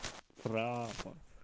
права